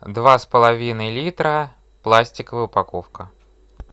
два с половиной литра пластиковая упаковка